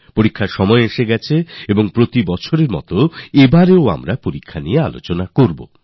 পরীক্ষাগুলি আসছে তাই প্রতিবছরের মতো আমাদের পরীক্ষা নিয়ে আলোচনাও করতে হবে